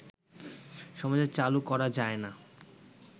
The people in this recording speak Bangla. সমাজে চালু করা যায় না